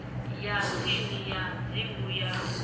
ya tsini ya dzingu ya